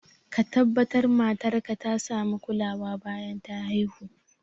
Ka tabbatar matar ka ta sami kulawa bayan ta haihu